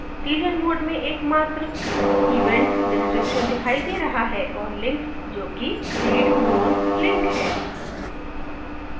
teaser mode में एकमात्र event description दिखाई दे रहा है और links जो कि read more links है